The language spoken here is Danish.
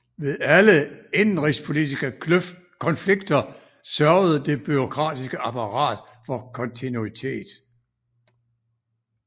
Ved alle indenrigspolitiske konflikter sørgede det bureaukratiske apparat for kontinuitet